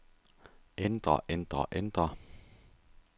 ændre ændre ændre